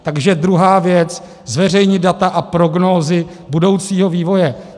Takže druhá věc: zveřejnit data a prognózy budoucího vývoje.